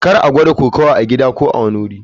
Kar a gwada kokawa a gida ko a kowane wuri.